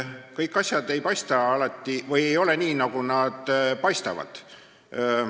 Kõik asjad ei ole alati nii, nagu need paistavad.